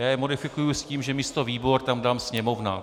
Já je modifikuji s tím, že místo výbor tam dám Sněmovna.